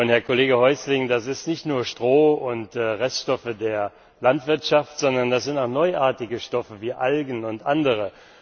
Herr Kollege Häusling, das sind nicht nur Stroh und Reststoffe der Landwirtschaft, sondern das sind auch neuartige Stoffe wie Algen und andere.